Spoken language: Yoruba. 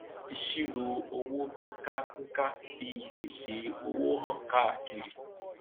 ìṣirò owó pínkà pínkà fi ìpèsè owó han káàkiri